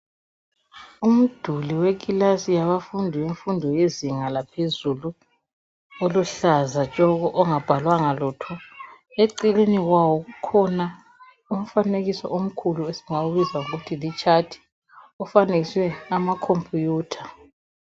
Umduli wekilasi yabafundi, bemfundo yezinga laphezulu. Oluhlaza tshoko! Ongabhalwanga lutho. Eceleni kwawo, kukhona umfanekiso omkhulu. Esingawubiza ngokuthi ngamatshathi. Ofanekiswe, amacomputer.